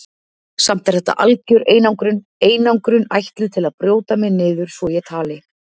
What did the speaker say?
Samt er þetta algjör einangrun, einangrun ætluð til að brjóta mig niður svo ég tali.